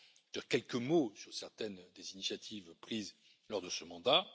Je dirai quelques mots sur certaines des initiatives prises lors de ce mandat.